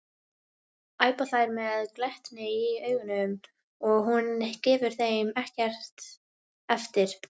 æpa þær með glettni í augunum og hún gefur þeim ekkert eftir.